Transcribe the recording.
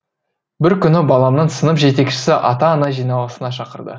бір күні баламның сынып жетекшісі ата ана жиналысына шақырды